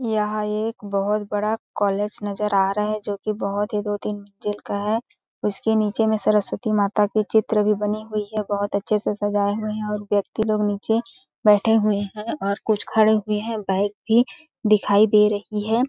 यहां एक बहुत बड़ा कॉलेज नजर आ रहा है जो कि बहुत ही दो-तीन मंजिल का है उसके नीचे में सरस्वती माता के चित्र भी बनी हुई है बहुत अच्छे से सजाए हुए हैं और व्यक्ति लोग नीचे बैठे हुए हैं और कुछ खड़े हुए हैं बाइक भी दिखाई दे रही है ।